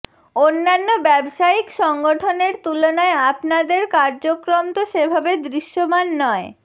অন্যান্য ব্যবসায়িক সংগঠনের তুলনায় আপনাদের কার্যক্রম তো সেভাবে দৃশ্যমান নয়